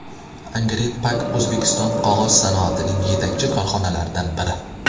Angren Pack O‘zbekiston qog‘oz sanoatining yetakchi korxonalaridan biri.